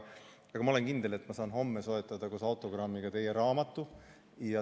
Aga ma olen kindel, et ma saan homme soetada koos autogrammiga teie raamatu.